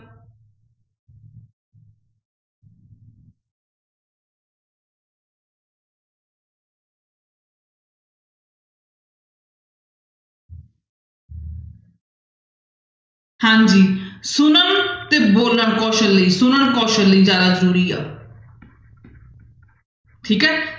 ਹਾਂਜੀ ਸੁਣਨ ਤੇ ਬੋਲਣ ਕੌਸਲ ਲਈ, ਸੁਣਨ ਕੌਸਲ ਲਈ ਜ਼ਿਆਦਾ ਜ਼ਰੂਰੀ ਆ ਠੀਕ ਹੈ।